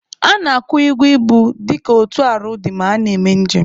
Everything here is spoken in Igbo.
A na-akwụ ụgwọ ibu dịka otu arọ ọ dị ma a na-eme njem